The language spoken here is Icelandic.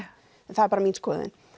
en það er bara mín skoðun